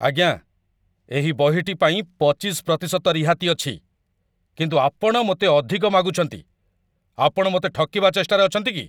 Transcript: ଆଜ୍ଞା! ଏହି ବହିଟି ପାଇଁ ପଚିଶ ପ୍ରତିଶତ ରିହାତି ଅଛି, କିନ୍ତୁ ଆପଣ ମୋତେ ଅଧିକ ମାଗୁଛନ୍ତି। ଆପଣ ମୋତେ ଠକିବା ଚେଷ୍ଟାରେ ଅଛନ୍ତି କି?